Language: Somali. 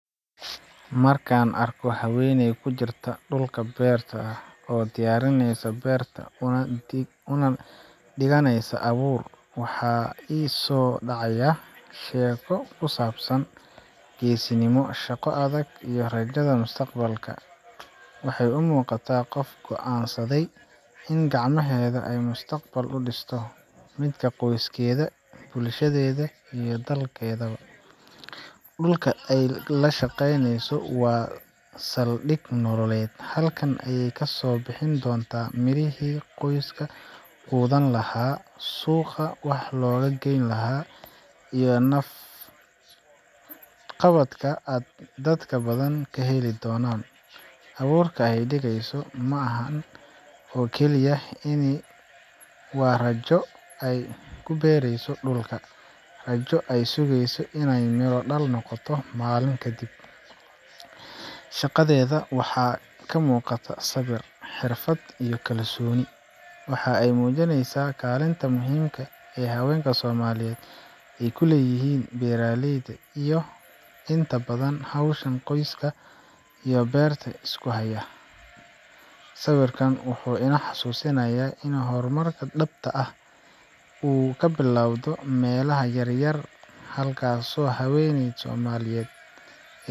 Marka aan arko haweeney ku jirta dhulka beerta ah oo diyaarinaysa beerta una dhiganeysa abuur, waxaa i soo dhacaya sheeko ku saabsan geesinimo, shaqo adag iyo rajada mustaqbalka. Waxay u muuqataa qof go’aansaday in gacmaheeda ay mustaqbal u dhisto midka qoyskeeda, bulshadeeda, iyo dalkaba. Dhulka ay la shaqeyneyso waa saldhig nololeed halkaan ayay kasoo bixi doonaan mirihii qoyska quudin lahaa, suuqa wax loogu geyn lahaa, iyo naf qabadka ay dad badan ka heli doonaan. Abuurka ay dhigayso ma aha oo keliya iniin, waa rajo ay ku beerayso dhulka rajo ay sugayso in ay miro dhal noqoto maalmo kadib. Shaqadeeda waxaa ka muuqata sabir, xirfad iyo kalsooni. Waxa ay muujinaysaa kaalinta muhiimka ah ee haweenka Soomaaliyeed ay ku leeyihiin beeraleyda iyagaa inta badan hawsha qoyska iyo beertaba isku haya. Sawirkan wuxuu ina xusuusinayaa in horumarka dhabta ahi uu ka bilowdo meelaha yar yar, halkaasoo haweeney Soomaaliyeed.